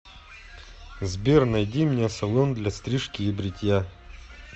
сбер найди мне салон для стрижки и бритья